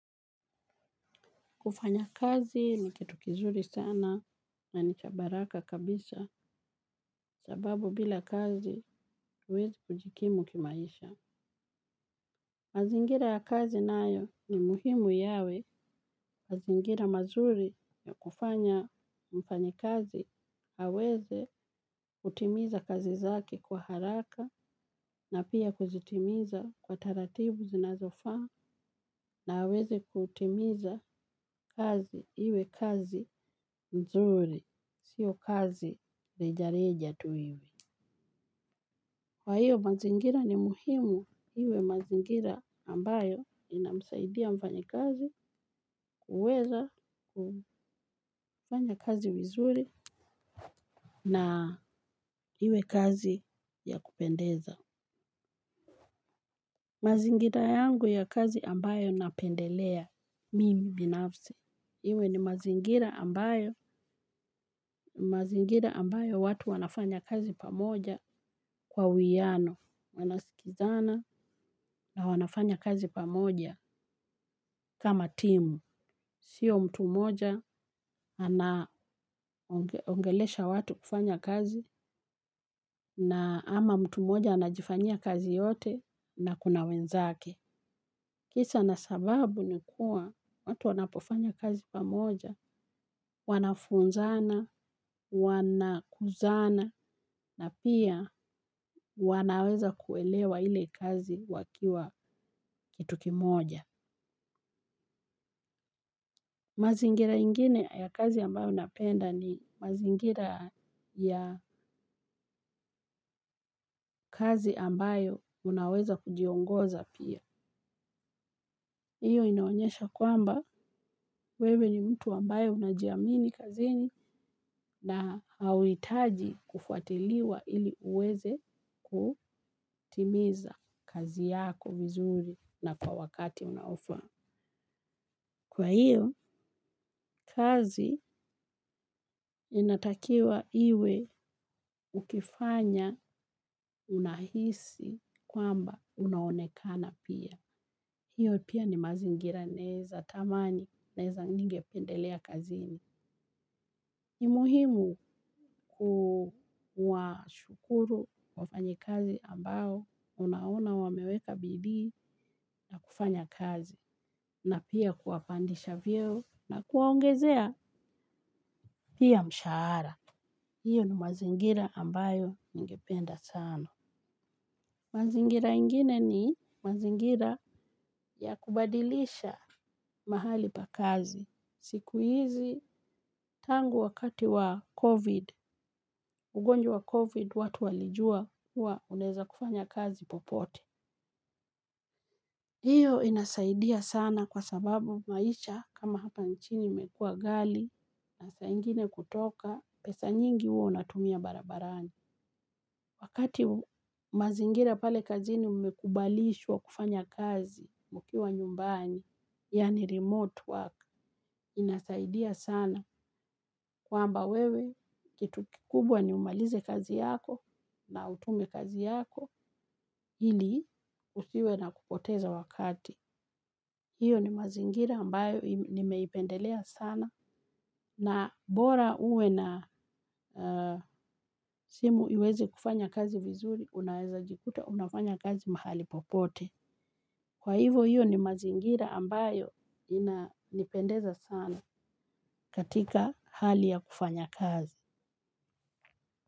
Kufanya kazi ni kitu kizuri sana na ni cha baraka kabisa sababu bila kazi huwezi kujikimu kimaisha. Mazingira ya kazi nayo ni muhimu yawe. Mazingira mazuri ya kufanya mfanyakazi. Aweze kutimiza kazi zake kwa haraka na pia kuzitimiza kwa taratibu zinazofaa na aweze kutimiza kazi ili kazi nzuri. Sio kazi rejareja tu hivi. Kwa hiyo, mazingira ni muhimu. Iwe mazingira ambayo inamsaidia mfanyakazi, kuweza kufanya kazi vizuri na iwe kazi ya kupendeza. Mazingira yangu ya kazi ambayo napendelea mimi binafsi. Iwe ni mazingira ambayo watu wanafanya kazi pamoja kwa uwiano. Wanasikizana na wanafanya kazi pamoja kama timu. Sio mtu moja anaongelesha watu kufanya kazi na ama mtu moja anajifanya kazi yote na kuna wenzake. Kisa na hiisababu nikuwa watu wanapofanya kazi pamoja wanafunzana, wanakuzana na pia wanaweza kuelewa ile kazi wakiwa kitu kimoja. Mazingira ingine ya kazi ambayo unapenda ni mazingira ya kazi ambayo unaweza kujiongoza pia. Hiyo inaonyesha kwamba wewe ni mtu ambayo unajiamini kazini na hauhitaji kufuatiliwa ili uweze kutimiza kazi yako vizuri na kwa wakati unaofaa. Kwa hiyo, kazi inatakiwa iwe ukifanya unahisi kwamba unaonekana pia. Hiyo pia ni mazingira naweza tamani, naweza ningependelea kazini. Ni muhimu kuwa shukuru wafanyakazi ambao, unaona wameweka bidii kufanya kazi. Na pia kuwapandisha vyeo na kuwaongezea pia mshahara. Hiyo ni mazingira ambayo ningependa sana. Mazingira ingine ni mazingira ya kubadilisha mahali pa kazi. Siku hizi tangu wakati wa COVID, ugonjwa COVID watu walijua kuwa unaweza kufanya kazi popote. Hiyo inasaidia sana kwa sababu maisha kama hapa nchini imekua ghali na saa ingine kutoka pesa nyingi huwa unatumia barabarani. Wakati mazingira pale kazini umekubalishwa kufanya kazi mkiwa nyumbani, yani remote work, inasaidia sana kwamba wewe kitu kikubwa ni umalize kazi yako na utume kazi yako, hili usiwe na kupoteza wakati. Hiyo ni mazingira ambayo nimeipendelea sana na bora uwe na simu iweze kufanya kazi vizuri unaweza jikuta unafanya kazi mahali popote. Kwa hivo hiyo ni mazingira ambayo inanipendeza sana katika hali ya kufanya kazi.